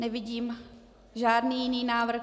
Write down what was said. Nevidím žádný jiný návrh.